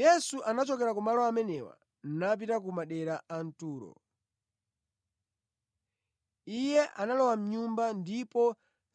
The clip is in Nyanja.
Yesu anachoka kumalo amenewo napita ku madera a Turo. Iye analowa mʼnyumba ndipo